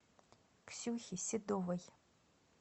ксюхе седовой